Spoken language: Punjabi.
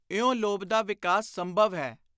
ਇਉਂ ਲੋਭ ਦਾ ਵਿਕਾਸ ਸੰਭਵ ਹੈ।